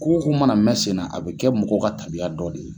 Ko o ko mana na mɛn senna a bɛ kɛ mɔgɔw ka taabiya dɔ de ye.